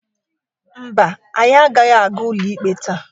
Mba, anyị agaghị aga ụlọikpe taa.